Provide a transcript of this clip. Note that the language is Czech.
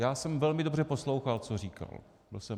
Já jsem velmi dobře poslouchal, co říkal.